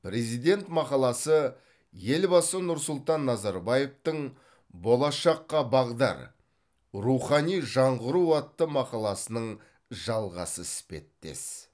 президент мақаласы елбасы нұрсұлтан назарбаевтың болашаққа бағдар рухани жаңғыру атты мақаласының жалғасы іспеттес